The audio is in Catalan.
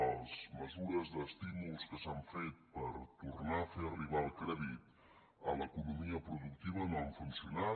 les mesures d’estímul que s’han fet per tornar a fer arribar el crèdit a l’economia productiva no han funcionat